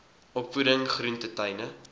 opvoeding groente tuine